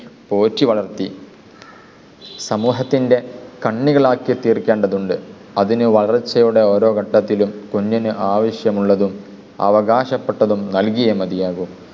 പോറ്റി വളർത്തി സമൂഹത്തിൻ്റെ കണ്ണികളാക്കി തീർക്കേണ്ടതുണ്ട്. അതിനെ വളർച്ചയുടെ ഓരോ ഘട്ടത്തിലും കുഞ്ഞിന് ആവശ്യമുള്ളതും അവകാശപ്പെട്ടതും നൽകിയേ മതിയാകു.